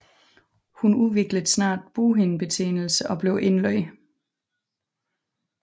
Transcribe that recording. Hun udviklede snart bughindebetændelse og blev indlagt